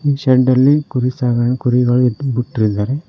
ಈ ಶೆಡ್ ಅಲ್ಲಿ ಕುರಿ ಸಾಗನ್ ಕುರಿಗಳು ಬುಟ್ಟಿದರೆ.